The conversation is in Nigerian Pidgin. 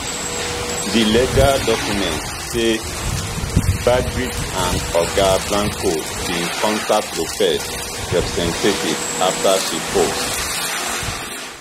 di legal documents say backgrid and oga blanco bin contact lopez representatives afta she post